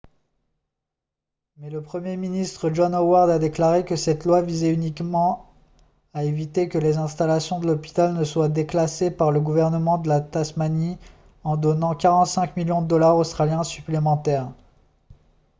mais le premier ministre john howard a déclaré que cette loi visait uniquement à éviter que les installations de l'hôpital ne soient déclassées par le gouvernement de tasmanie en donnant 45 millions de dollars australiens supplémentaires